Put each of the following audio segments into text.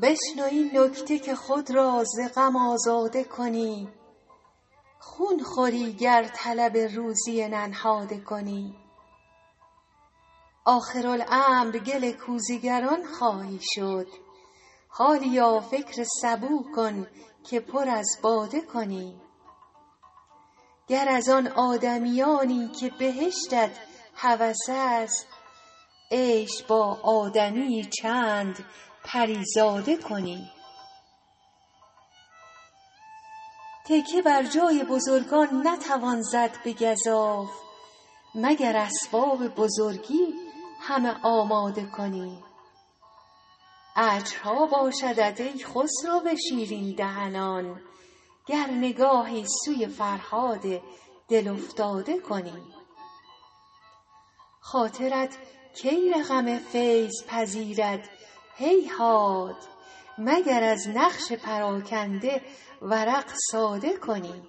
بشنو این نکته که خود را ز غم آزاده کنی خون خوری گر طلب روزی ننهاده کنی آخرالامر گل کوزه گران خواهی شد حالیا فکر سبو کن که پر از باده کنی گر از آن آدمیانی که بهشتت هوس است عیش با آدمی یی چند پری زاده کنی تکیه بر جای بزرگان نتوان زد به گزاف مگر اسباب بزرگی همه آماده کنی اجرها باشدت ای خسرو شیرین دهنان گر نگاهی سوی فرهاد دل افتاده کنی خاطرت کی رقم فیض پذیرد هیهات مگر از نقش پراگنده ورق ساده کنی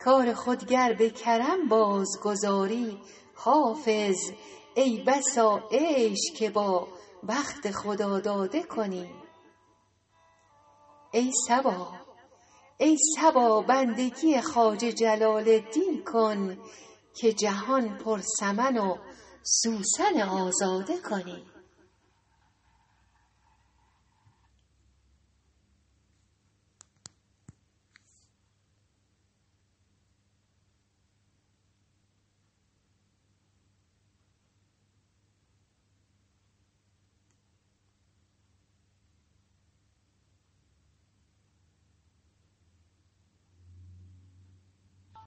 کار خود گر به کرم بازگذاری حافظ ای بسا عیش که با بخت خداداده کنی ای صبا بندگی خواجه جلال الدین کن که جهان پر سمن و سوسن آزاده کنی